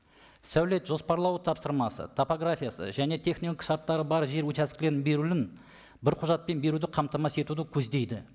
сәулет жоспарлау тапсырмасы топографиясы және техникалық шарттары бар жер учаскілерін беруін бір құжатпен беруді қамтамасыз етуді көздейді